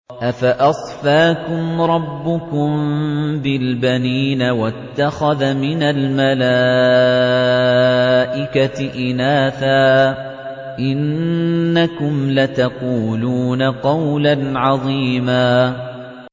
أَفَأَصْفَاكُمْ رَبُّكُم بِالْبَنِينَ وَاتَّخَذَ مِنَ الْمَلَائِكَةِ إِنَاثًا ۚ إِنَّكُمْ لَتَقُولُونَ قَوْلًا عَظِيمًا